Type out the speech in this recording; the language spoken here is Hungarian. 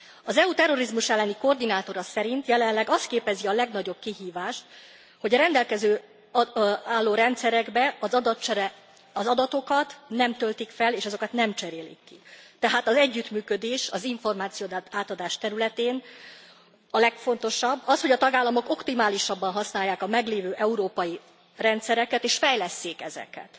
Az EU terrorizmus elleni koordinátora szerint jelenleg az képezi a legnagyobb kihívást, hogy a rendelkezésre álló rendszerekbe az adatokat nem töltik föl és azokat nem cserélik ki, tehát az együttműködés az információátadás területén a legfontosabb, az, hogy a tagállamok optimálisabban használják a meglévő európai rendszereket, és fejlesszék ezeket.